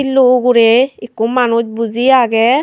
shillo uguri ekku manuj buji agey.